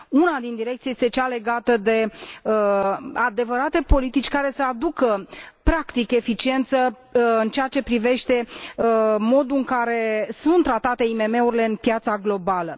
Una din direcții este cea legată de adevărate politici care să aducă practic eficiență în ceea ce privește modul în care sunt tratate IMM urile pe piața globală.